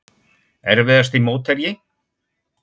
Erfiðasti mótherji?